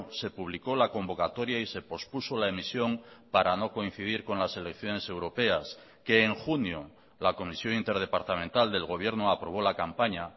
se publicó la convocatoria y se pospuso la emisión para no coincidir con las elecciones europeas que en junio la comisión interdepartamental del gobierno aprobó la campaña